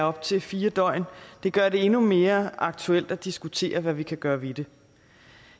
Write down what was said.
op til fire døgn gør det endnu mere aktuelt at diskutere hvad vi kan gøre ved det